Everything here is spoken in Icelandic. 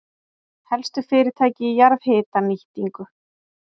Helstu fyrirtæki í jarðhitanýtingu